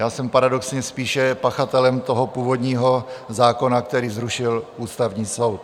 Já jsem paradoxně spíše pachatelem toho původního zákona, který zrušil Ústavní soud.